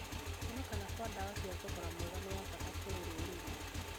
Kwonekana kwa ndawa cia thogora mwega nĩ wa bata harĩ rũrĩrĩ